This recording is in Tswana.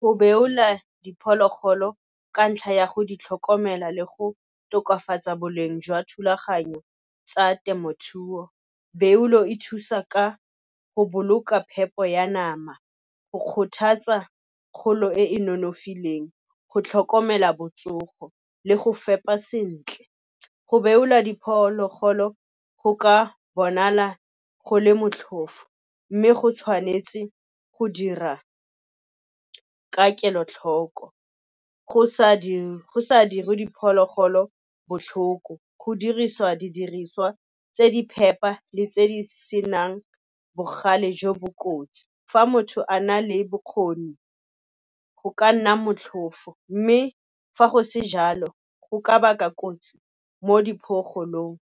Go beola diphologolo ka ntlha ya go di tlhokomela le go tokafatsa boleng jwa thulaganyo tsa temothuo. Beolo e thusa ka go boloka phepo ya nama, go kgothatsa kgolo e e nonofileng, go tlhokomela botsogo le go fepa sentle. Go beolwa diphologolo go ka bonala go le motlhofo, mme go tshwanetse go dirwa ka kelotlhoko go sa dirwe diphologolo botlhoko, go dirisiwa didiriswa tse di phepa le tse di senang bogale jo bo kotsi. Fa motho a na le bokgoni, go ka nna motlhofo, mme fa go se jalo go ka baka kotsi mo .